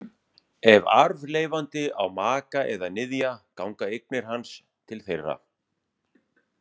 Ef arfleifandi á maka eða niðja ganga eignir hans til þeirra.